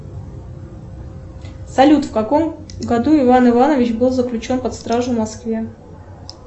салют в каком году иван иванович был заключен под стражу в москве